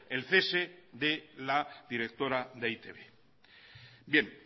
el cese de la directora de e i te be